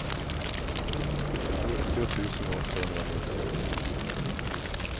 nittio tusen åttahundranittionio